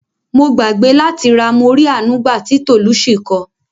Mo gbàgbé láti gba "Morí Àánú gbà" ti Tolucci ko.